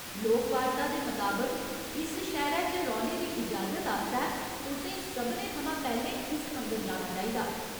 लोकवार्ता दे मताबक, इस शैह्‌रै च रौह्‌ने दी इजाजत आस्तै तुसें सभनें थमां पैह्‌लें इस मंदर जाना चाहिदा।